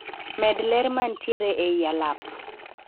Med ler mantiere ei alap